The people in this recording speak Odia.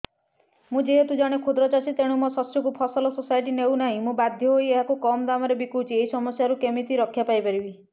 ମୁଁ ଯେହେତୁ ଜଣେ କ୍ଷୁଦ୍ର ଚାଷୀ ତେଣୁ ମୋ ଶସ୍ୟକୁ ଫସଲ ସୋସାଇଟି ନେଉ ନାହିଁ ମୁ ବାଧ୍ୟ ହୋଇ ଏହାକୁ କମ୍ ଦାମ୍ ରେ ବିକୁଛି ଏହି ସମସ୍ୟାରୁ କେମିତି ରକ୍ଷାପାଇ ପାରିବି